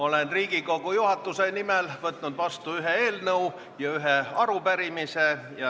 Olen Riigikogu juhatuse nimel võtnud vastu ühe eelnõu ja ühe arupärimise.